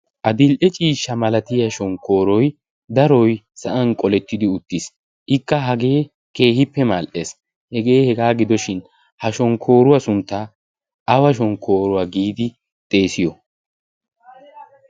A dil''e ciishsha malatiya shonkkooroi daroi sa'an qolettidi uttiis ikka hagee keehippe maal''ees hegee hegaa gidoshin. Ha shonkkooruwaa sunttaa awa shonkkooruwaa giidi xeesiyo?